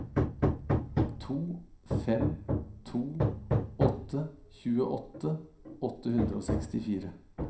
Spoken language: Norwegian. to fem to åtte tjueåtte åtte hundre og sekstifire